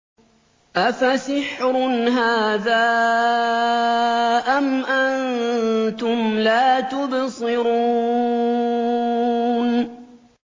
أَفَسِحْرٌ هَٰذَا أَمْ أَنتُمْ لَا تُبْصِرُونَ